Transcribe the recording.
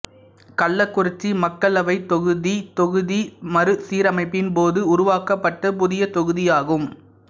கள்ளக்குறிச்சி மக்களவைத் தொகுதி தொகுதி மறுசீரமைப்பின் போது உருவாக்கப்பட்ட புதிய தொகுதியாகும்